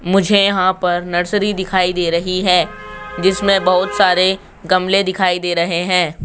मुझे यहां पर नर्सरी दिखाई दे रही है जिसमें बहोत सारे गमले दिखाई दे रहे हैं।